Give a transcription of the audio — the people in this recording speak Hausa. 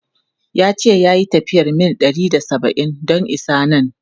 Ya ce ya yi tafiyar mil ɗari da saba’in don isa nan.